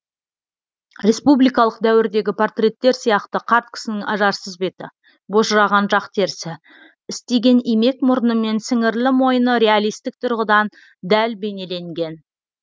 республикалық дәуірдегі портреттер сияқты қарт кісінің ажарсыз беті божыраған жақ терісі істиген имек мұрны мен сіңірлі мойны реалистік тұрғыдан дәл бейнеленген